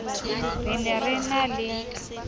re ne re na le